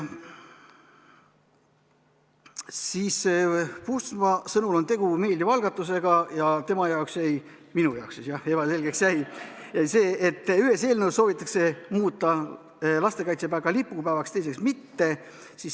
Puustusmaa sõnul on tegu meeldiva algatusega ja tema ehk minu jaoks jäi ebaselgeks see, et ühes eelnõus soovitakse muuta lastekaitsepäev ka lipupäevaks, teises mitte.